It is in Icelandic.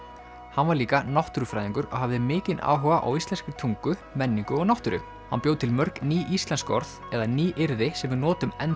hann var líka náttúrufræðingur og hafði mikinn áhuga á íslenskri tungu menningu og náttúru hann bjó til mörg ný íslensk orð eða nýyrði sem við notum enn